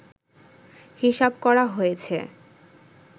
হিসাব করা হয়েছে